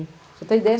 Você tem ideia?